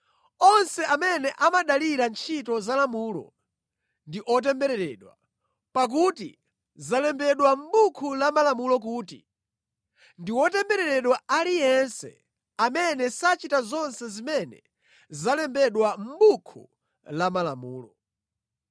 Onse amene amadalira ntchito za lamulo ndi otembereredwa, pakuti zalembedwa mʼBuku la Malamulo kuti, “Ndi wotembereredwa aliyense amene sachita zonse zimene zalembedwa mʼBuku la Malamulo.”